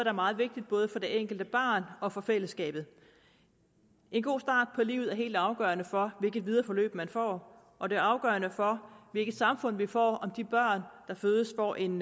er meget vigtigt både for det enkelte barn og for fællesskabet en god start på livet er helt afgørende for hvilket videre forløb man får og det er afgørende for hvilket samfund vi får om de børn der fødes får en